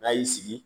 N'a y'i sigi